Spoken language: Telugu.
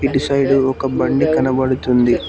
ఇటు సైడు ఒక బండి కనబడుతుంది.